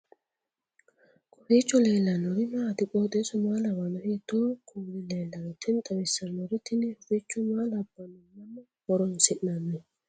kowiicho leellannori maati ? qooxeessu maa lawaanno ? hiitoo kuuli leellanno ? tini xawissannori tini huficho maa labbanno mamma horoonsi'nanni